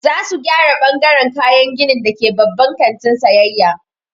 Za su gyara ɓangaran kayan gini da ke babban kantin sayayya.